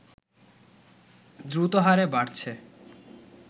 দ্রুত হারে বাড়ছে